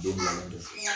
Don bila don